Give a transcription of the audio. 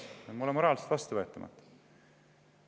See on mulle moraalselt vastuvõetamatu.